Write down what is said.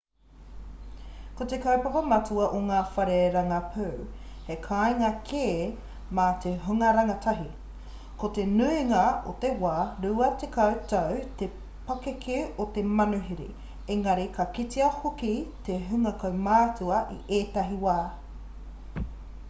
ko te kaupapa matua a ngā whare rangapū he kāinga kē mā te hunga rangatahi ko te nuingā o te wā 20 tau te pakeke o te manuhiri engari ka kitea hoki te hunga kaumātua i ētahi wā